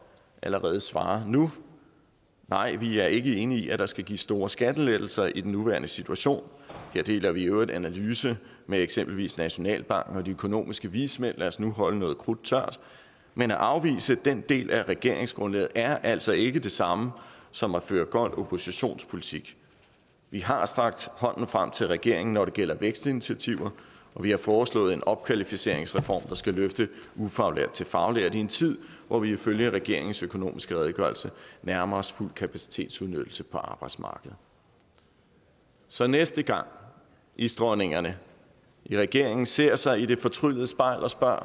allerede svare nu nej vi er ikke enige i at der skal gives store skattelettelser i den nuværende situation her deler vi i øvrigt analyse med eksempelvis nationalbanken og de økonomiske vismænd lad os nu holde noget krudt tørt men at afvise den del af regeringsgrundlaget er altså ikke det samme som at føre gold oppositionspolitik vi har strakt hånden frem til regeringen når det gælder vækstinitiativer og vi har foreslået en opkvalificeringsreform der skal løfte ufaglærte til faglærte i en tid hvor vi ifølge regeringens økonomiske redegørelse nærmer os fuld kapacitetsudnyttelse på arbejdsmarkedet så næste gang isdronningerne i regeringen ser sig i det fortryllede spejl og spørger